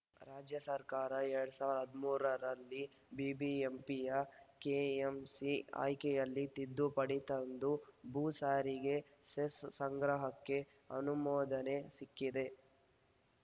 ರಾಜ್ಯ ಸರ್ಕಾರ ಎರಡ್ ಸಾವಿರದ ಹದಿಮೂರು ರಲ್ಲಿ ಬಿಬಿಎಂಪಿಯ ಕೆಎಂಸಿ ಆ್ಯಕ್ಟ್ಗೆ ತಿದ್ದುಪಡಿ ತಂದು ಭೂ ಸಾರಿಗೆ ಸೆಸ್‌ ಸಂಗ್ರಹಕ್ಕೆ ಅನುಮೋದನೆ ಸಿಕ್ಕಿದೆ